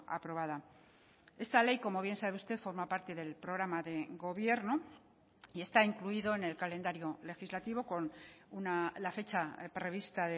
aprobada esta ley como bien sabe usted forma parte del programa de gobierno y está incluido en el calendario legislativo con la fecha prevista